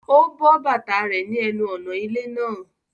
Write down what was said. Ó bọ́ bàtà rẹ̀ ní ẹnu ọ̀nà ilé náà